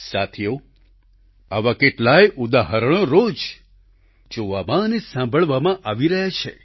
સાથીઓ આવા કેટલાય ઉદાહરણો રોજ જોવામાં અને સાંભળવામાં આવી રહ્યા છે